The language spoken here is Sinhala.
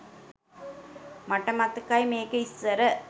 මට මතකයි මේක ඉස්සර